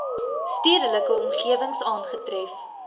stedelike omgewings aangetref